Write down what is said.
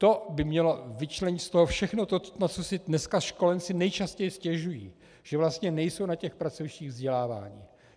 To by mělo vyčlenit z toho všechno to, na co si dneska školenci nejčastěji stěžují - že vlastně nejsou na těch pracovištích vzděláváni.